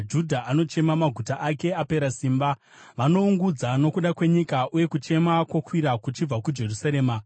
“Judha anochema, maguta ake apera simba; vanoungudza nokuda kwenyika, uye kuchema kwokwira kuchibva kuJerusarema.